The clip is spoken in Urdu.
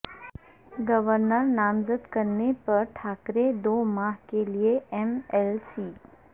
گورنر نامزد کرنے پر ٹھاکرے دو ماہ کیلئے ایم ایل سی